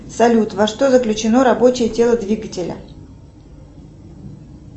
салют во что заключено рабочее тело двигателя